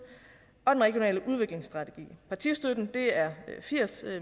og den regionale udviklingsstrategi partistøtten er firs